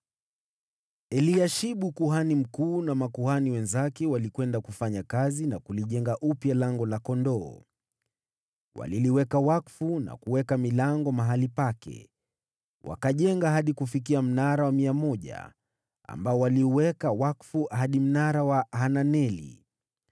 Eliashibu kuhani mkuu na makuhani wenzake walikwenda kufanya kazi na kulijenga upya Lango la Kondoo. Waliliweka wakfu na kuweka milango mahali pake, wakajenga hadi kufikia Mnara wa Mia, ambao waliuweka wakfu hadi Mnara wa Hananeli.